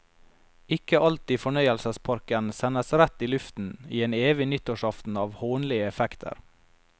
Ikke alt i fornøyelsesparken sendes rett i luften, i en evig nyttårsaften av hånlige effekter.